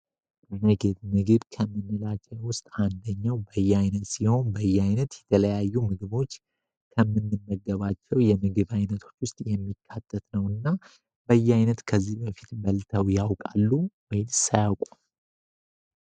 ምግብ ምግብ ከምንላቸው ውስጥ አንደኛው በያይነት ሲሆን በያይነት ከተለያዩ ምግቦች ከምንመገባቸው ውስጥ የሚካተት እና በያይነት ከዚህ በፊት በልተው ያውቃሉ ወይንስ አያውቁም?